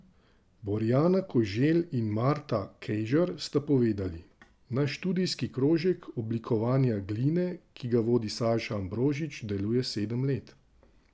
Borjana Koželj in Marta Kejžar sta povedali: 'Naš študijski krožek oblikovanja gline, ki ga vodi Saša Ambrožič, deluje sedem let.